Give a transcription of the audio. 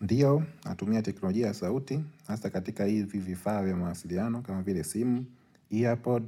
Ndiyo, natumia teknolojia sauti. Hasa katika hivi vifaa vya mawasiliano kama vile simu, earpod,